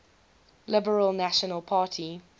liberal national party